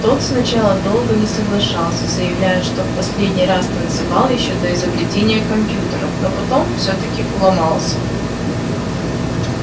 тот сначала долго не соглашался заявляя что в последний раз танцевал ещё до изобретения компьютеров но потом всё-таки уломался